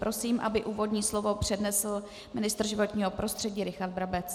Prosím, aby úvodní slovo přednesl ministr životního prostředí Richard Brabec.